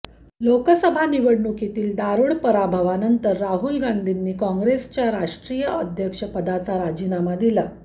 लोकसभा निवडणुकीतील दारुण पराभवानंतर राहुल गांधीनी काँग्रेसच्या राष्ट्रीय अध्यक्षपदाचा राजीनामा दिला